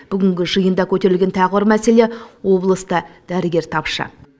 бүгінгі жиында көтерілген тағы бір мәселе облыста дәрігер тапшы